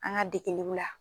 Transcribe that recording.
An ka dekeliw la.